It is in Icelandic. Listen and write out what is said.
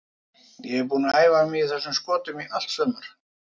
Ég er búinn að æfa mig í þessum skotum í allt sumar.